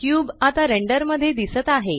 cube आता render मध्ये दिसत आहे